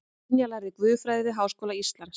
Brynja lærði guðfræði við Háskóla Íslands